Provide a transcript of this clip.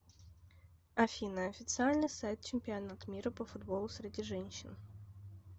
афина официальный сайт чемпионат мира по футболу среди женщин